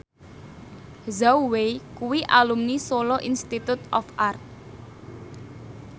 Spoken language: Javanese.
Zhao Wei kuwi alumni Solo Institute of Art